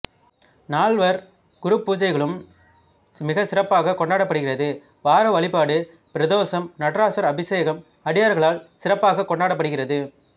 நால்வர் குருபூஜைகளும் மிக சிறப்பாக கொண்டாடப்படுகிறது வாரவழிபாடு பிரதோஸம் நடராசர் அபிசேகம் அடியார்களால் சிறப்பாக கொண்டாடப்படுகிறது